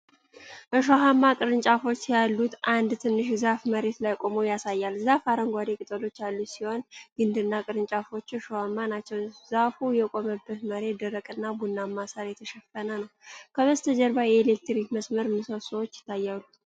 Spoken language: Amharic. እሾሃማ ቅርንጫፎች ያሉት አንድ ትንሽ ዛፍ መሬት ላይ ቆሞ ያሳያል። ዛፉ አረንጓዴ ቅጠሎች ያሉት ሲሆን ግንድና ቅርንጫፎቹ እሾሃማ ናቸው። ዛፉ የቆመበት መሬት ደረቅና ቡናማ ሳር የተሸፈነ ነው። ከበስተጀርባ የኤሌክትሪክ መስመር ምሰሶዎች ይታያሉ።